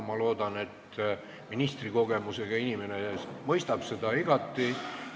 Ma loodan, et ministrikogemusega inimene mõistab seda igati.